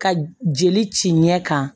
Ka jeli ci ɲɛ kan